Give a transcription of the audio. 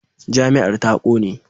Jami'ar ta kone.